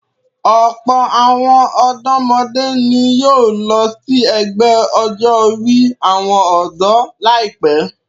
Ọ̀pọ̀ àwọn ọ̀dọ́mọdé ni yóò lọ sí ẹgbẹ́ ọjọ́-orí àwọn ọ̀dọ́ láìpẹ́.